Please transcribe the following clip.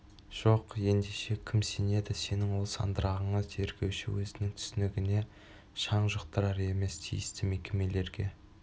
жоқ ендеше кім сенеді сенің ол сандырағыңа тергеуші өзінің түсінігіне шаң жұқтырар емес тиісті мекемелерге